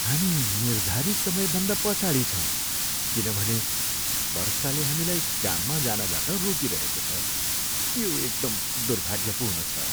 हामी निर्धारित समय भन्दा पछाडि छौँ किनभने वर्षाले हामीलाई काममा जानबाट रोकिरहेको छ, यो एकदम दुर्भाग्यपूर्ण छ।